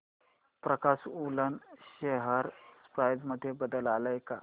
प्रकाश woollen share price मध्ये बदल आलाय का